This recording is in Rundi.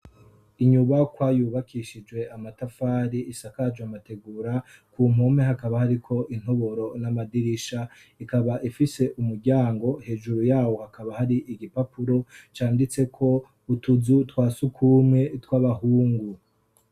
inyubakwa yubakishijwe amatafari isakajwe amategura ku mpome hakaba hari ko intoboro n'amadirisha ikaba ifise umuryango hejuru yawo hakaba hari igipapuro cyanditseko utuzu twasugume tw'abahungu.